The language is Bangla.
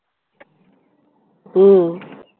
ও